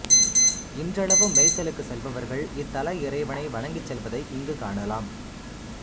இன்றளவும் மேய்ச்சலுக்கு செல்பவர்கள் இத்தல இறைவனை வணங்கி செல்வதை இங்கு காணலாம்